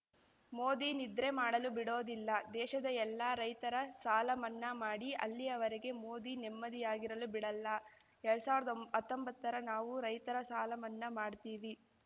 ಮೋದಿ ನಿದ್ರೆ ಮಾಡಲು ಬಿಡೋದಿಲ್ಲ ದೇಶದ ಎಲ್ಲ ರೈತರ ಸಾಲ ಮನ್ನಾ ಮಾಡಿ ಅಲ್ಲಿಯವರೆಗೆ ಮೋದಿ ನೆಮ್ಮದಿಯಾಗಿರಲು ಬಿಡಲ್ಲ ಎರಡ್ ಸಾವಿರ್ದಾ ಒಂ ಹತ್ತೊಂಬತ್ತರ ನಾವು ರೈತರ ಸಾಲಮನ್ನಾ ಮಾಡ್ತೀವಿ